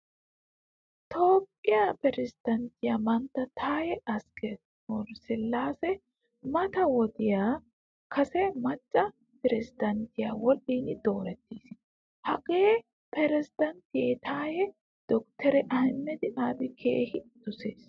Toohphpiyaa piresidanttiyaa mantta Taye asqe/silase mata wodiya kase macca piresidanttiyaa wodhdhin doorettiis. Hagaa piresidanttiyaa taya doktere Ahmeda Abiy keehin dosees.